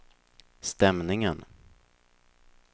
stämningen